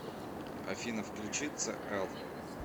афина включи цээл